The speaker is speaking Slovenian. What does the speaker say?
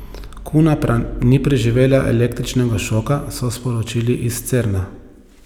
Kuna pa ni preživela električnega šoka, so sporočili iz Cerna.